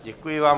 Děkuji vám.